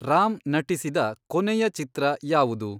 ರಾಮ್ ನಟಿಸಿದ ಕೊನೆಯ ಚಿತ್ರ ಯಾವುದು